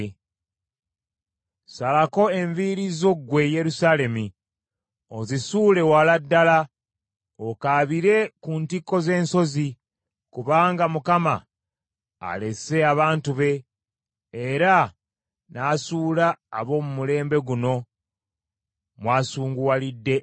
Salako enviiri zo ggwe Yerusaalemi, ozisuule wala ddala okaabire ku ntikko z’ensozi, kubanga Mukama alese abantu be era n’asuula ab’omu mulembe guno mw’asunguwalidde ennyo.’ ”